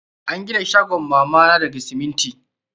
An gina shagon mama na daga siminti.